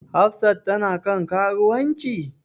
Hafsat tana kan karuwanci?